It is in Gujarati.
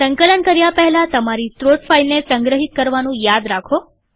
સંકલન કર્યાં પહેલા તમારી સ્ત્રોત ફાઈલને સંગ્રહિત કરવાનું યાદ રાખો